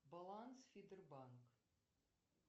баланс фитербанк